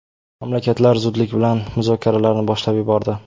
Mamlakatlar zudlik bilan muzokaralarni boshlab yubordi.